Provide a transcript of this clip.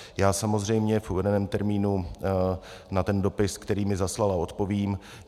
Já samozřejmě v uvedeném termínu na ten dopis, který mi zaslala, odpovím.